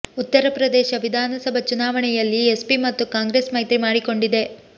ಉತ್ತರ ಪ್ರದೇಶ ವಿಧಾನಸಭಾ ಚುನಾವಣೆಯಲ್ಲಿ ಎಸ್ಪಿ ಮತ್ತು ಕಾಂಗ್ರೆಸ್ ಮೈತ್ರಿ ಮಾಡಿಕೊಂಡಿದೆ